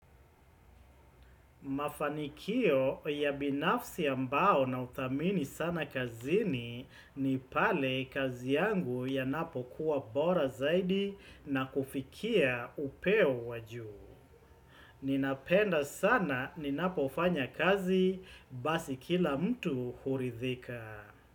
Mafanikio ya binafsi ambao nauthamini sana kazini ni pale kazi yangu yanapo kuwa bora zaidi na kufikia upeo wa juu. Ninapenda sana ninapofanya kazi basi kila mtu huridhika.